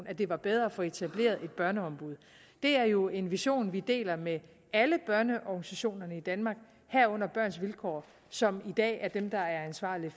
at det var bedre at få etableret et børneombud det er jo en vision som vi deler med alle børneorganisationerne i danmark herunder børns vilkår som i dag er dem der er ansvarlige